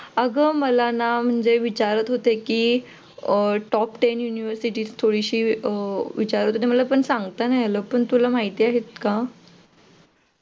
अग मला ना म्हणजे विचारत होते कि top ten university विचारत होते पण मला ना सांगता नाही आलं पण तुला माहिती आहेत का?